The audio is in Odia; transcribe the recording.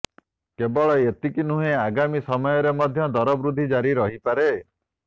କେବଳ ଏତିକି ନୁହେଁ ଆଗାମୀ ସମୟରେ ମଧ୍ୟ ଦର ବୃଦ୍ଧି ଜାରି ରହିପାରେ